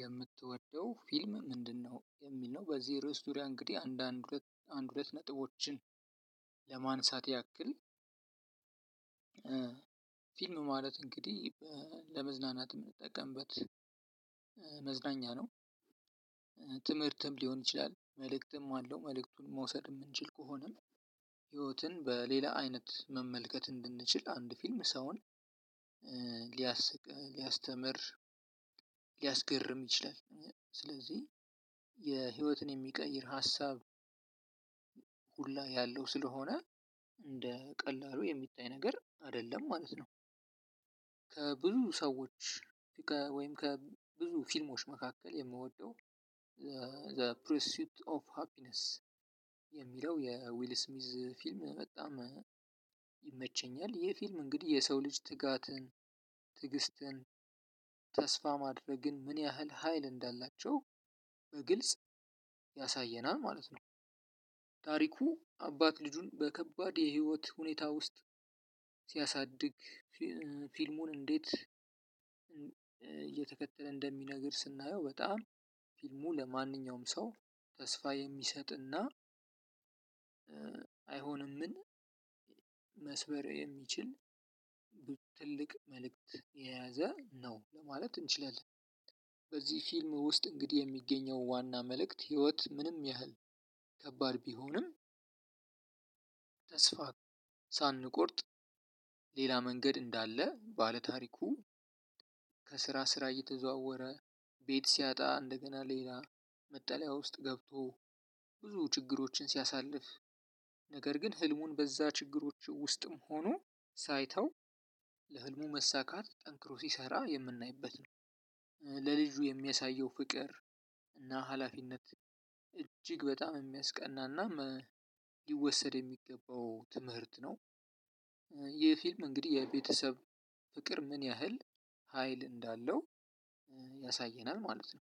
የምትወደው ፊልም ምንድነው? የሚል ነው በዚህ ርዕስ ዙሪያ እንግዲህ አንዳንድ አንድ ሁለት ነጥቦችን ለማንሳት ያክል ፊልም ማለት እንግዲህ ለመዝናናት የምንጠቀምበት መዝናኛ ነው። ትምህርትም ሊሆን ይችላል መልእክትም አለው መልእክቱን መውሰድ የምንችል ከሆነ ህይወትን በሌላ አይነት መመልከት እንድንችል አንድ ፊልም ሰውን ሊያስቅ ሊያስተምር ሊያስገርም ይችላል ስለዚህ የህይወትን የሚቀይር ሀሳብ ሁላ ያለው ስለሆነ እንደ ቀላሉ የሚታይ ነገር አይደለም ማለት ነው። ከብዙ ሰዎች ወይም ከብዙ ፊልሞች መካከል የምወደው ዘ ፕሪሲዩት ኦፍ ሃፒነስ የሚለው የዊል ስሚዝ ፊልም በጣም ይመቸኛል። ይሄ ፊልም እንግዲህ የሰው ልጅ ትጋትን ትግስትን ተስፋ ማድረግን ምን ያህል ሀይል እንዳላቸው በግልጽ ያሳየናል ማለት ነው። ታሪኩ አባት ልጁን በከባድ የህይወት ሁኔታ ውስጥ ሲያሳድግ ፊልሙ እንዴት እየተከተለ እንደሚነግር ስናየው በጣም ፊልሙ ለማንኛውም ሰው ተስፋ የሚሰጥና አይሆንምን መስበር የሚችል ትልቅ መልእክት የያዘ ነው። ለማለት እንችላለን። በዚህ ፊልም ውስጥ እንግዲህ የሚገኘው ዋና መልእክት ህይወት ምንም ያህል ከባድ ቢሆንም ተስፋ ሳንቆርጥ ሌላ መንገድ እንዳለ ባለታሪኩ ከስራ ስራ እየተዘዋወረ ቤት ሲያጣ እንደገና ሌላ መጠለያ ውስጥ ገብቶ ብዙ ችግሮችን ሲያሳልፍ ነገር ግን ህልሙን በዛ ችግሮች ውስጥም ሆኖ ሳይተው ለህልሙ መሳካት ጠንክሮ ሲሰራ የምናይበት ነው። ለልጁ የሚያሳየው ፍቅር እና ሀላፊነት እጅግ በጣም የሚያስቀናናም ሊወሰድ የሚገባው ትምህርት ነው። ይህ ፊልም እንግዲህ የቤተሰብ ፍቅር ምን ያህል ሀይል እንዳለው ያሳየናል ማለት ነው።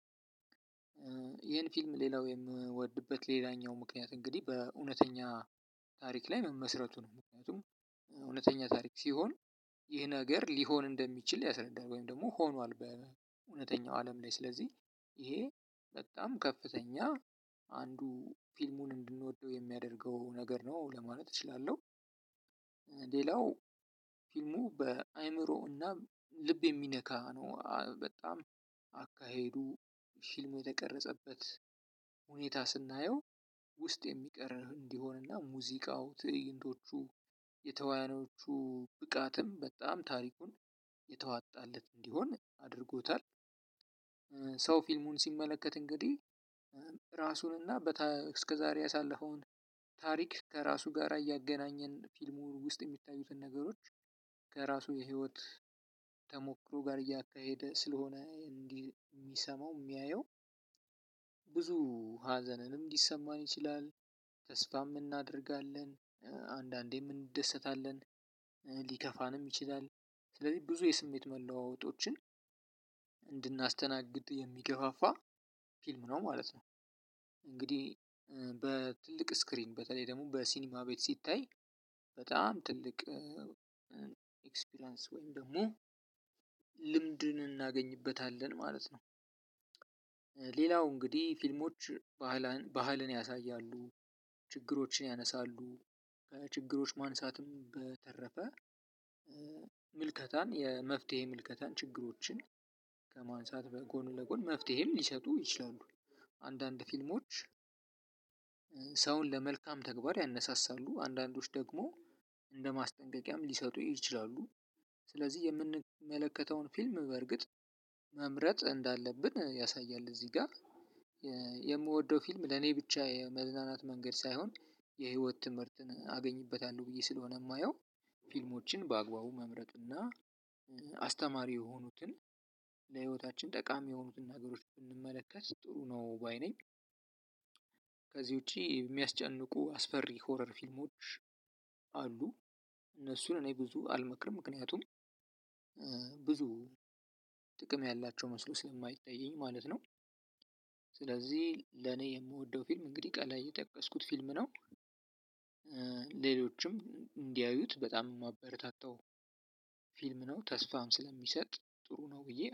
ይሄን ፊልም ሌላው የምወድበት ሌላኛው ምክንያት እንግዲህ በእውነተኛ ታሪክ ላይ መመስረቱ ነው። ምክንያቱም እውነተኛ ታሪክ ሲሆን ይህ ነገር ሊሆን እንደሚችል ያስረዳናል። ወይም ደግሞ ሆኗል በእውነተኛው አለም ላይ ስለዚህ ይሄ በጣም ከፍተኛ አንዱ ፊልሙን እንድንወደው የሚያደርገው ነገር ነው። ለማለት እችላለሁ። ሌላው ፊልሙ በአእምሮ ልብ የሚነካ ነው። በጣም አካሄዱ ፊልሙ የተቀረጸበት ሁኔታ ስናየው ውስጥ የሚቀር እንዲሆንና ሙዚቃው ትዕይንቶቹ የተዋያኖቹ ብቃትም በጣም ታሪኩን የተዋጣለት እንዲሆን አድርጎታል። ሰው ፊልሙን ሲመለከት እንግዲህ እራሱንና እስከ ዛሬ ያሳለፈውን ታሪክ ከራሱ ጋር እያገናኘ ፊልም ውስጥ የሚታዩትን ነገሮች ከራሱ ከህይወት ተሞክሮ ጋር እያገናኘ ስለሆነ የሚሰማው የሚያየው ብዙ ሀዘንንም ሊሰማን ይችላል። ተስፋም እናደርጋለን አንዳንዴም እንደሰታለን ሊከፋንም ይችላል ስለዚህ ብዙ የስሜት መለዋወጦችን እንድናስተናግድ የሚገፋፋ ፊልም ነው ማለት ነው። እንግዲህ በትልቅ ስክሪን በተለይ ደግሞ በሲኒማ ቤት ሲታይ በጣም ትልቅ ኤክስፒሪያንስ ወይም ደግሞ ልምድን እናገኝበታለን ማለት ነው። ሌላው እንግዲህ ፊልሞች ባህልን ያሳያሉ ችግሮችን ያነሳሉ ከችግሮች ማንሳትም በተረፈ ምልከታን የመፍትሄ ምልከታን ችግሮችን ከማንሳት በጎን ለጎን መፍትሄም ሊሰጡ ይችላሉ። አንዳንድ ፊልሞች ሰውን ለመልካም ተግባር ያነሳሳሉ አንዳንዶች ደግሞ እንደ ማስጠንቀቂያም ሊሰጡ ይችላሉ። ስለዚህ የምንመለከተውን ፊልም በርግጥ መምረጥ እንዳለብን ያሳያል። እዚህ ጋር። የምወደው ፊልም ለኔ ብቻ የመዝናናት መንገድ ሳይሆን የህይወት ትምህርትን አገኝበታለሁ ብዬ ስለሆነ የማየው ፊልሞችን በአግባቡ መምረጥ እና አስተማሪ የሆኑትን ለህይወታችን ጠቃሚ የሆኑትን ነገሮች ብንመለከት ጥሩ ነው ባይ ነኝ። ከዚህ ውጪ የሚያስጨንቁ አስፈሪ ሆረር ፊልሞች አሉ። እነሱን እኔ ብዙ አልመክርም ምክንያቱም ብዙ ጥቅም ያላቸው መስሎ ስለማይታየኝ ማለት ነው። ስለዚህ ለኔ የምወደው ፊልም እንግዲህ ከላይ የጠቀስኩት ፊልም ነው። ሌሎችም እንዲያዩት በጣም የማበረታታው ፊልም ነው ተስፋም ስለሚሰጥ ጥሩ ነው። ብዬ